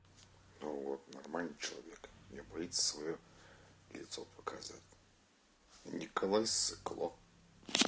ну вот нормальный человек не боится своё лицо показывать николай ссыкло